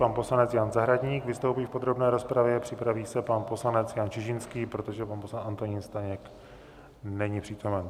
Pan poslanec Jan Zahradník vystoupí v podrobné rozpravě, připraví se pan poslanec Jan Čižinský, protože pan poslanec Antonín Staněk není přítomen.